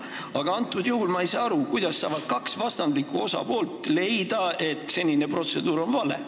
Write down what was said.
Aga antud juhul ma ei saa aru, kuidas saavad kaks vastandlikku osapoolt leida, et senine protseduur on vale.